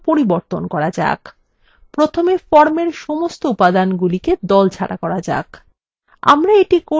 প্রথমে formএর সমস্ত উপাদানগুলিকে দলমুক্ত করা যাক